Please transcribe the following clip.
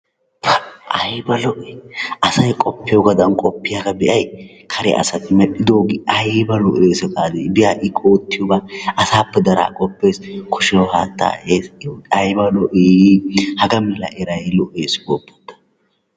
pa laa ayba lo'ii asay qoppiyoogaadan qoppiyaga be'ay? kare asati medhidoogee ayba lo'eesi gaadi be'a i ootiyoba asaappe daruwa qoppees, kushiya haataa ehees, ayba lo'ii hagaa mala eray lo'ees gooppa.